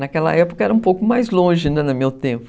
Naquela época era um pouco mais longe, né, no meu tempo.